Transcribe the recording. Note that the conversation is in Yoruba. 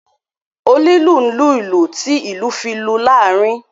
Onílù n lulú ti ìlú fi lù laarin.